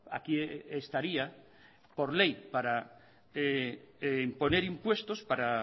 aquí estaría por ley para imponer impuestos para